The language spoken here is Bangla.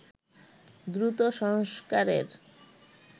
দ্রুত সংস্কারের